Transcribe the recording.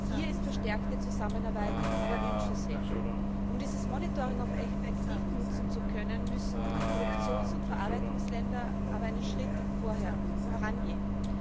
Hier ist verstärkte Zusammenarbeit aber wünschenswert. Um dieses Monitoring auch effektiv nutzen zu können, müssen Produktions und Verarbeitungsländer aber einen Schritt vorangehen.